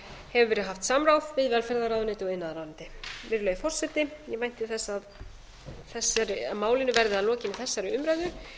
hefur verið haft samráð við velferðarráðuneytið og iðnaðarráðuneytið virðulegi forseti ég vænti þess að málinu verði að lokinni þessari umræðu